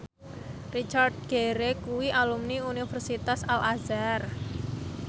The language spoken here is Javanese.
Richard Gere kuwi alumni Universitas Al Azhar